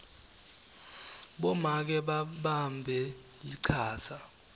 bomake babambe lichaza